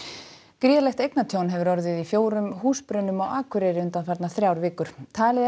gríðarlegt eignatjón hefur orðið í fjórum húsbrunum á Akureyri undanfarnar þrjár vikur talið er